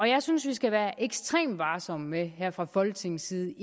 jeg synes vi skal være ekstremt varsomme med her fra folketingets side